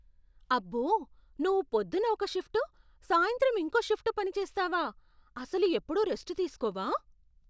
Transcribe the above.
అబ్బో! నువ్వు పొద్దున్న ఒక షిఫ్ట్, సాయంత్రం ఇంకో షిఫ్ట్ పనిచేస్తావా? అసలు ఎప్పుడూ రెస్ట్ తీస్కోవా?